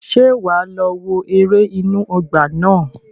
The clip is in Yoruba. Ṣé wà á lọ wo ère inú ọgbà náà?